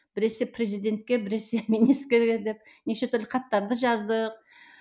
біресе президентке біресе неше түрлі хаттарды жаздық